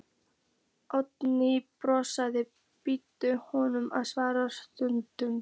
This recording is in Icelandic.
Oddný brosir, býður honum að svara spurningunni.